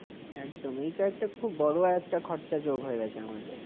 একদম, এইটা একটা খুব বড় একটা খরচা যোগ হয়ে গেছে আমাদের।